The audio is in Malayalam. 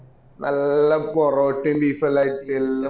നല്ല പൊറോട്ട beef എല്ലൊം അടിച് എല്ലൊം പോ